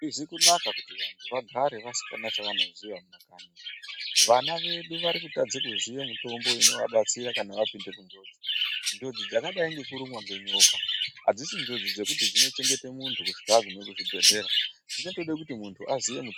Hazvizi kunaka kuti vantu vagare vasina chavanoziya mumakanyi. Vana vedu varikutadza kuziya mitombo inovabatsira kana vapinda munjodzi. Njodzi dzakadai ngekurumwa ngenyoka adzisi njodzi dzekuti dzinochengeta muntu kusvika aguma kuchibhehlera, dzinotoda kuti muntu aziye mu.